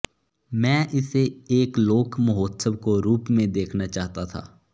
मैं इसे एक लोक महोत्सव को रूप में देखना चाहता था